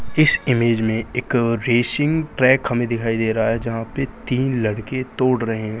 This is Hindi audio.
इस इमेज मे एक रैसिंग ट्रैक हमे दिखाई दे रहा है जहां पे तीन लड़के दौड़ रहे है।